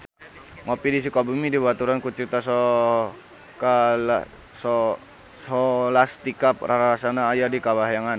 Ngopi di Sukabumi dibaturan ku Citra Scholastika rarasaan aya di kahyangan